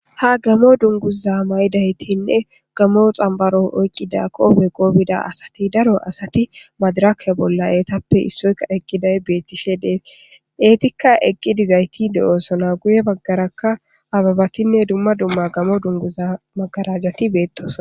ha gamo dunguza maydaytinne gamo xambaro oyqqida kobeqo bida asati daro asati madiraka bolla eetappe issoyka eqqiday beettishe dees eetikka eqqidizayti de7oosona guye baggarakka ababatinne dumma dumma gamo dunguza magarajjati beettosna